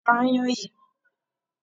Pa ayan yìí!